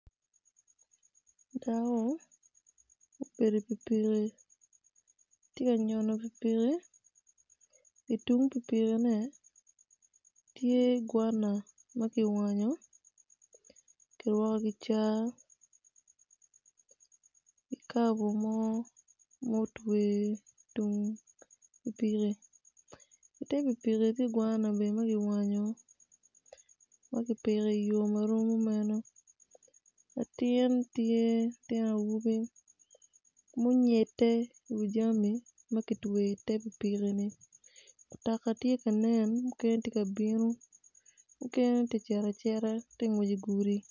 Dako obedo i pikipiki tye ka nyono pikipiki i tung pikipiki tye gwana ma kiwanyo i kicya tye kikabu mo ma kitweyo i tung pikipiki i te pikipiki tye gwana ma kiwanyo ma kipiko i yo ma rom kimeno latin tye ma onyede i wi jami ma kitweyoni ma tye ka ngwec i gudi.